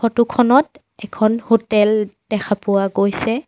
Photo খনত এখন hotel দেখা পোৱা গৈছে।